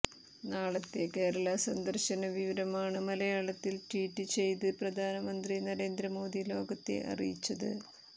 നാളെത്തെ കേരളാ സന്ദർശന വിവരമാണ് മലയാളത്തിൽ ട്വീറ്റ് ചെയ്ത് പ്രധാനമന്ത്രി നരേന്ദ്രമോദി ലോകത്തെ അറിയിച്ചത്